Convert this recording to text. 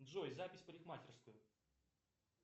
джой запись в парикмахерскую